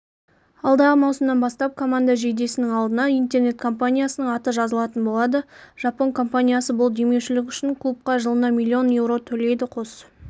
алдағы маусымнан бастап команда жейдесінің алдына интернет-компаниясының аты жазылатын болады жапон компаниясы бұл демеушілік үшін клубқа жылына миллион еуро төлейді қос